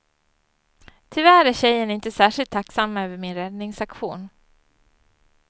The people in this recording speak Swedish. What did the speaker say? Tyvärr är tjejen inte särskilt tacksam över min räddningsaktion.